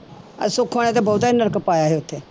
ਆਹ ਸੁੱਖੋ ਨੇ ਤਾਂ ਬਹੁਤਾ ਹੀ ਨਰਕ ਪਾਇਆ ਸੀ ਉੱਥੇ।